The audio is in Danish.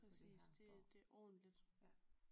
Præcis det det er ordentligt